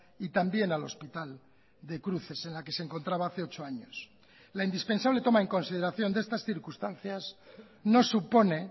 y también al hospital de cruces en la que se encontraba hace ocho años la indispensable toma en consideración de estas circunstancias no supone